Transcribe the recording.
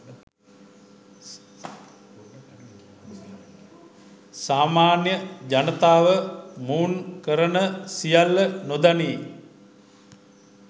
සාමාන්‍ය ජනතාව මොවුන් කරන සියල්ල නොදනී